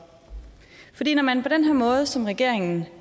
når man på den her måde som regeringen